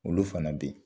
Olu fana bɛ yen